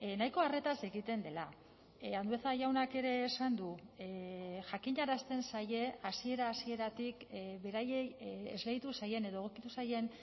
nahiko arretaz egiten dela andueza jaunak ere esan du jakinarazten zaie hasiera hasieratik beraiei esleitu zaien edo egokitu zaien